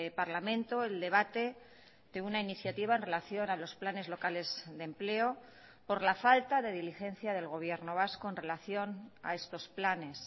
parlamento el debate de una iniciativa en relación a los planes locales de empleo por la falta de diligencia del gobierno vasco en relación a estos planes